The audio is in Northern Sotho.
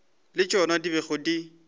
le tšona di bego di